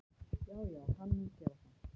Já já, hann mun gera það.